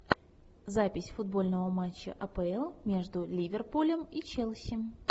запись футбольного матча апл между ливерпулем и челси